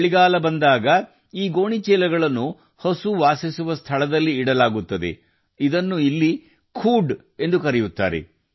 ಚಳಿಗಾಲ ಬಂತೆಂದರೆ ಹಸುಗಳು ವಾಸಿಸುವ ಶೆಡ್ಗಳಲ್ಲಿ ಈ ಗೋಣಿಚೀಲಗಳನ್ನು ಹಾಕಲಾಗುತ್ತದೆ ಇದನ್ನು ಇಲ್ಲಿ ಖುದ್ ಎಂದು ಕರೆಯಲಾಗುತ್ತದೆ